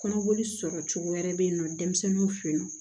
Kɔnɔboli sɔrɔcogo wɛrɛ bɛ yen nɔ denmisɛnninw fe yen nɔ